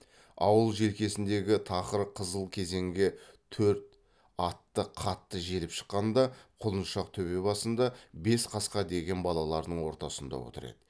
ауыл желкесіндегі тақыр қызыл кезеңге төрт атты қатты желіп шыққанда құлыншақ төбе басында бес қасқа деген балаларының ортасында отыр еді